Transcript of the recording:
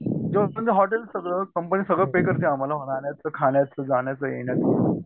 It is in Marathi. हॉटेल सगळं कंपनी सगळं पेय करते आम्हांला रहाण्याचं खाण्याचं जाण्याचं येण्याचं